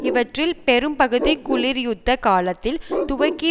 இவற்றில் பெரும் பகுதி குளிர்யுத்த காலத்தில் துவக்கி